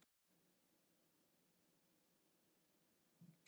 Ég kom að honum við þennan bíl hérna. sjáiði, þetta gerði hann!